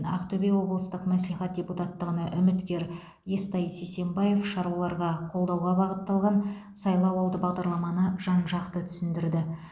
ақтөбе облыстық мәслихат депутаттығына үміткер естай сисенбаев шаруаларға қолдауға бағытталған сайлауалды бағдарламаны жан жақты түсіндірді